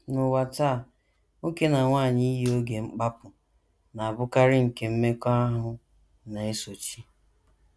N’ụwa taa, nwoke na nwanyị iyi oge mkpapu na - abụkarị nke mmekọahụ na - esochi.